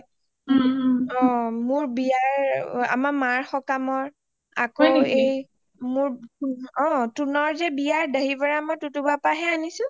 অ অ মোৰ বিয়াৰ আমাৰ মাৰ সকামত আকৌ মোৰ এই টোনৰ যে বিয়া মই টোটো বাৰ পৰা হে আনিছোঁ